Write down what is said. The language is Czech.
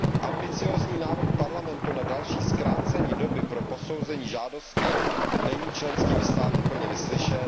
Ambiciózní návrh Parlamentu na další zkrácení doby pro posouzení žádostí není členskými státy plně vyslyšen.